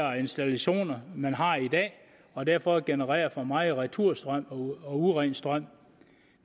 og installationer man har i dag og derfor genererer for meget returstrøm og uren strøm